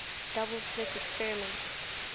double slit experiment